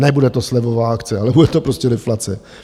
Nebude to slevová akce, ale bude to prostě deflace.